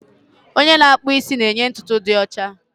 Onye na-akpụ isi na-enye ntutu dị ọcha